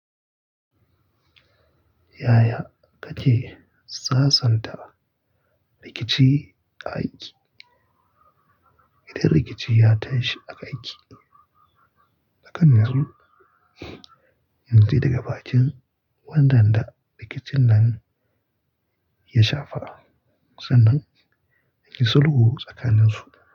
Yaya kake sasanta rikici a aiki? Idan rikici ya tashi a aiki tsakanin su, in ji daga bakin wanda rikicin nan ya shafa, sannan in yi sulhu tsakanin su.